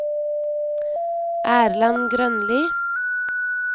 Erland Grønli